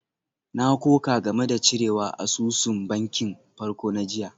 Na koka game da cirewa asusun bankin farko na jiya.